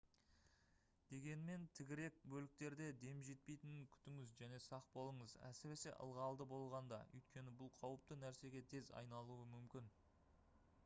дегенмен тігірек бөліктерде дем жетпейтінін күтіңіз және сақ болыңыз әсіресе ылғалды болғанда өйткені бұл қауіпті нәрсеге тез айналуы мүмкін